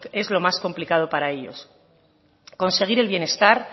es lo más complicado para ellos conseguir el bienestar